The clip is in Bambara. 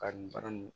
Ka nin baara nin